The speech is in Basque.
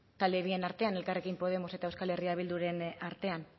talde bien artean elkarrekin podemos eta euskal herria bilduren artean